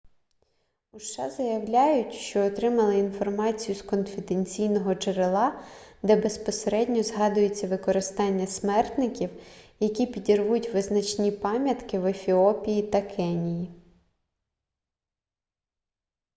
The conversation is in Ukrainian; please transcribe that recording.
у сша заявляють що отримали інформацію з конфіденційного джерела де безпосередньо згадується використання смертників які підірвуть визначні пам'ятки в ефіопії та кенії